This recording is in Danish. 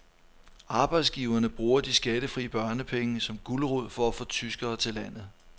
Arbejdsgiverne bruger de skattefri børnepenge som gulerod for at få tyskere til landet.